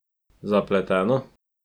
Zapleteno?